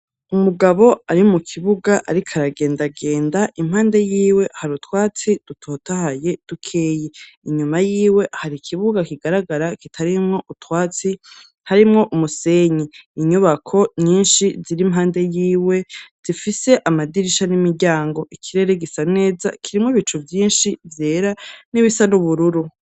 Umugabo ari mu kibuga ariko aragendagenda, impande yiwe hari utwatsi dutotahaye dukeyi, inyuma yiwe hari kibuga kigaragara, kitarimwo utwatsi harimwo umusenyi. Inyubako nyinshi ziri impande yiwe zifise amadirisha n'imiryango, ikirere gisa neza kirimwo ibicu vyinshi vyera n'ibisa n'ubururu.